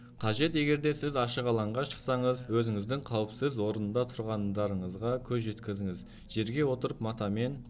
қажет егерде сіз ашық алаңға шықсаңыз өзіңіздің қауіпсіз орында тұрғандарыңызға көз жеткізіңіз жерге отырып матамен